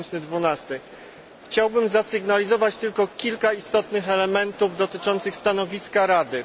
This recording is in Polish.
2012. Chciałbym zasygnalizować tylko kilka istotnych elementów dotyczących stanowiska Rady.